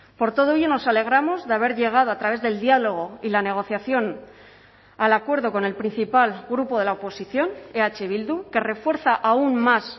por todo ello nos alegramos de haber llegado a través del diálogo y la negociación al acuerdo con el principal grupo de la oposición eh bildu que refuerza aún más